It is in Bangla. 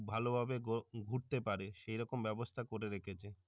ভালো ভাবে ঘুরতে পারে সে রকম ব্যাবস্থা করে রেখেছে